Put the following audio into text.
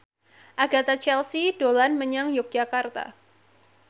Agatha Chelsea dolan menyang Yogyakarta